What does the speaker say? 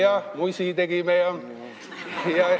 Ja musi tegime ka ...